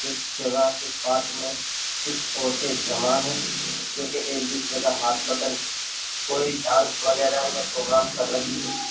एक जगह एक पार्क में कुछ औरतें जमा है जो कि एक दूसरे का हाथ पकड़ के कोई डांस वगैरह या प्रोग्राम कर रही हो।